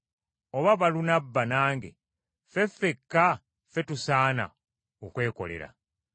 Oba Balunabba nange, ffe ffekka ffe tusaana okwekolera?